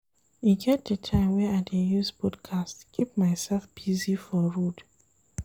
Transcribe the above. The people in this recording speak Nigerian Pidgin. E get di time wey I dey use podcast keep mysef busy for road.